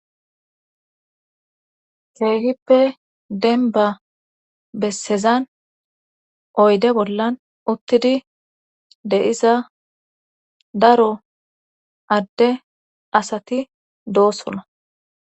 keehippe denba bessezan oyde bollan uttidi deiza daro adde asati doosona